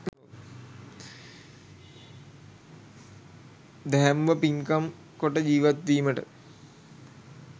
දැහැමිව පින්කම් කොට ජීවත්වීමට